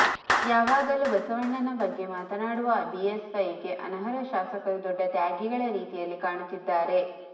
ಯಾವಗಲೂ ಬಸವಣ್ಣನ ಬಗ್ಗೆ ಮಾತನಾಡುವ ಬಿಎಸ್ವೈಗೆ ಅನರ್ಹ ಶಾಸಕರು ದೊಡ್ಡ ತ್ಯಾಗಿಗಳ ರೀತಿಯಲ್ಲಿ ಕಾಣುತ್ತಿದ್ದಾರೆ